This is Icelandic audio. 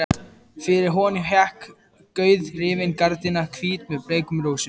Fyrir honum hékk gauðrifin gardína, hvít með bleikum rósum.